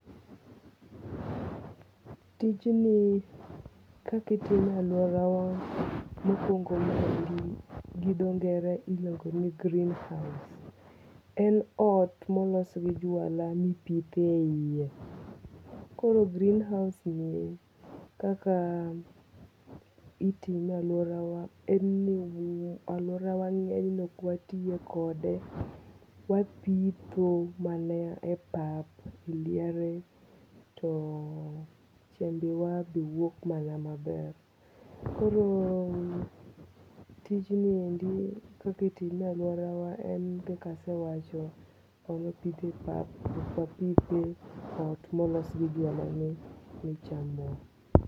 Tijni kakitime e aluora wa mokwongo gi dongo iluongo ni greenhouse. En ot molos gi jwala mipithe iye. Koro greenhouse ni kaka itime e aluorawa en ni aluora wa ng'enyne ok watiye kode. Wapitho mana e pap liare to chembe wa be wuok mana maber. Koro tijni endi kakitime e aluora wa en kaka asewacho wan wapithe path ok wapithe ot molos gi jwala ni ne chamwa.